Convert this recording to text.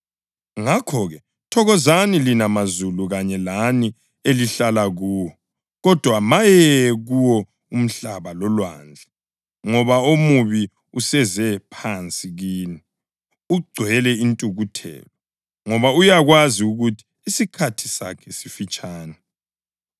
Ngakho-ke, thokozani lina mazulu kanye lani elihlala kuwo! Kodwa maye kuwo umhlaba lolwandle ngoba omubi useze phansi kini! Ugcwele intukuthelo ngoba uyakwazi ukuthi isikhathi sakhe sifitshane.”